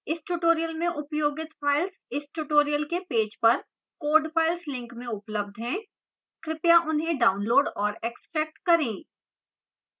इस tutorial में उपयोगित files इस tutorial के पेज पर code files link में उपलब्ध हैं कृपया उन्हें डाउनलोड और एक्स्ट्रैक्ट करें